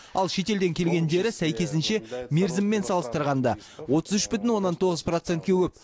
ал шетелден келгендері сәйкесінше мерзіммен салыстырғанда отыз үш бүтін оннан тоғыз процентке көп